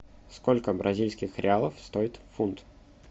сколько бразильских реалов стоит фунт